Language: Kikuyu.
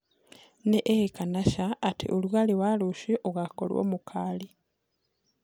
ni ii kana caa ati ũrũgarĩ wa rũcĩũ ugakorwo mukali